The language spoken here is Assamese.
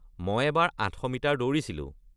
মই এবাৰ ৮০০ মিটাৰ দৌৰিছিলোঁ।